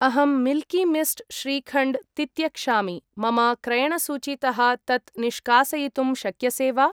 अहं Milky Mist shrikhand तित्यक्षामि, मम क्रयणसूचीतः तत् निष्कासयितुं शक्यसे वा?